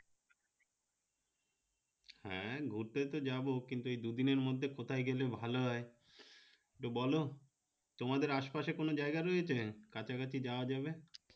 হে ঘুরতে তো যাবো কিন্তু এই দুদিনের মধ্যে কোথায় গেলে ভালো হয় তো বলো তোমাদের আশে পাশে কোন জায়গা রয়েছে কাছা কাছি যাওয়া যাবে